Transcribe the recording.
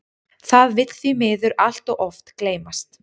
Það vill því miður allt of oft gleymast.